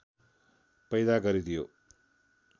पैदा गरिदियो